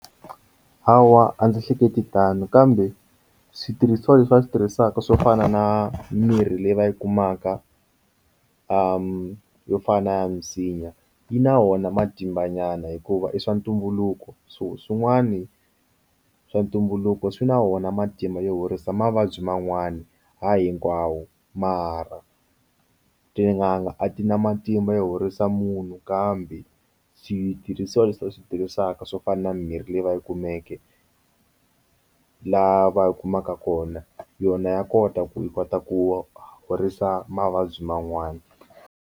Hawa a ndzi hleketi tano kambe switirhisiwa leswi va swi tirhisaka swo fana na mimirhi leyi va yi kumaka m yo fana na ya misinya yi na wona matimba nyana hikuva i swa ntumbuluko so swin'wani swa ntumbuluko swi na wona matimba yo horisa mavabyi man'wani hayi hinkwawo mara tin'anga a ti na matimba yo horisa munhu kambe side switirhisiwa leswi va swi tirhisaka swo fana na mimirhi leyi va yi kumeke lava yi kumaka kona yona ya kota ku yi kota ku horisa mavabyi man'wani.